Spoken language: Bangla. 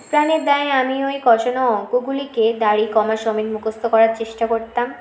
প্রানের দায় আমি ওই কষানো অঙ্ক গুলিকে দাড়ি কমা সমেত মুখস্ত করার চেষ্টা করতাম